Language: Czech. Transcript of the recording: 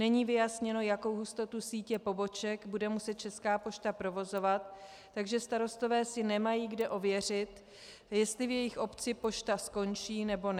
Není vyjasněno, jakou hustotu sítě poboček bude muset Česká pošta provozovat, takže starostové si nemají kde ověřit, jestli v jejich obci pošta skončí, nebo ne.